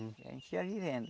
A gente ia vivendo.